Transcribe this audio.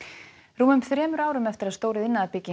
rúmum þremur árum eftir að stór